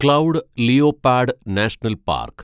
cloud leopard national park